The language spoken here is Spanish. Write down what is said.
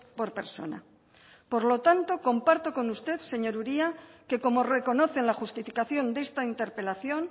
por persona por lo tanto comparto con usted señor uria que como reconoce en la justificación de esta interpelación